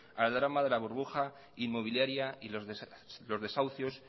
al drama de la burbuja inmobiliaria y los desahucios